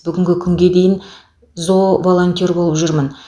бүгінгі күнге дейін зооволонтер болып жүрмін